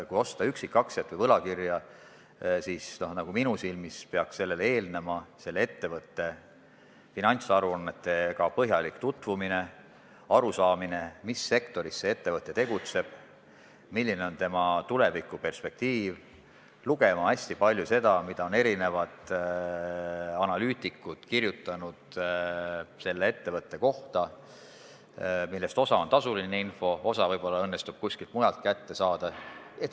Kui osta üksikaktsiat või võlakirja, peaks minu silmis eelnevalt selle ettevõtte finantsaruannetega põhjalikult tutvuma, tuleks aru saada, mis sektoris see ettevõte tegutseb, milline on tema tulevikuperspektiiv, lugeda hästi palju seda, mida analüütikud on selle ettevõtte kohta kirjutanud – osa on tasuline info, osa õnnestub võib-olla kuskilt mujalt kätte saada.